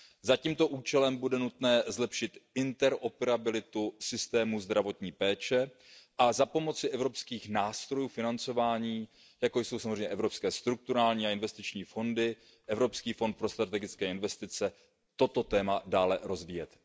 Za tímto účelem bude nutné zlepšit interoperabilitu systému zdravotní péče a za pomoci evropských nástrojů financování, jako jsou samozřejmě evropské strukturální a investiční fondy, Evropský fond pro strategické investice, toto téma dále rozvíjet.